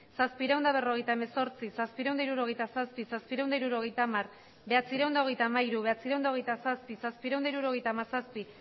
zazpiehun eta berrogeita hemezortzi zazpiehun eta hirurogeita zazpi zazpiehun eta hirurogeita hamar bederatziehun eta hogeita hamairu bederatziehun eta hogeita zazpi zazpiehun eta hirurogeita hamazazpi